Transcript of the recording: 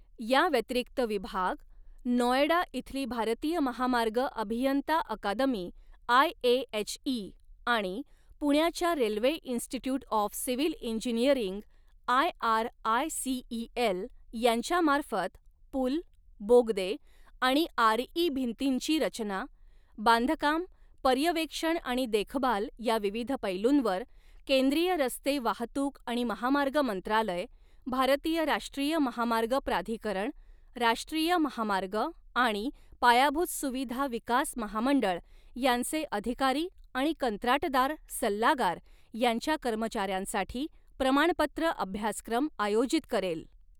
याव्यतिरिक्त विभाग, नॉएडा इथली भारतीय महामार्ग अभियंता अकादमी आय ए एच इ आणि पुण्याच्या railway institute of civil engineering I R I C E L , यांच्यामार्फत, पूल, बोगदे आणि आर ई भिंतींची रचना, बांधकाम, पर्यवेक्षण आणि देखभाल या विविध पैलूंवर, केंद्रीय रस्ते वाहतूक आणि महामार्ग मंत्रालय, भारतीय राष्ट्रीय महामार्ग प्राधिकरण, राष्ट्रीय महामार्ग आणि पायाभूत सुविधा विकास महामंडळ यांचे अधिकारी आणि कंत्राटदार सल्लागार यांच्या कर्मचाऱ्यांसाठी, प्रमाणपत्र अभ्यासक्रम आयोजित करेल.